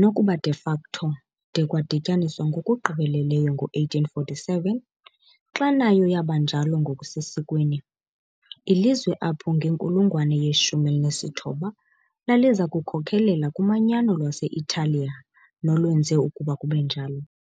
nokuba de facto de kwadityaniswa ngokugqibeleleyo ngo-1847, xa nayo yaba njalo ngokusesikweni, ilizwe apho ngenkulungwane ye-19 laliza kukhokelela kumanyano lwase-Italiya nolwenze ukuba kube njalo.